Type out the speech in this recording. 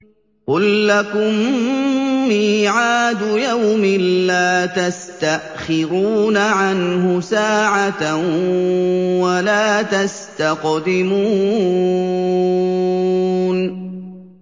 قُل لَّكُم مِّيعَادُ يَوْمٍ لَّا تَسْتَأْخِرُونَ عَنْهُ سَاعَةً وَلَا تَسْتَقْدِمُونَ